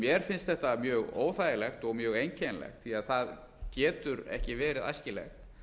mér finnst þetta mjög óþægilegt og mjög einkennilegt því það getur ekki verið æskilegt